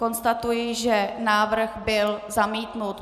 Konstatuji, že návrh byl zamítnut.